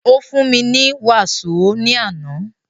Ó fún mi ní wàsó ní àná.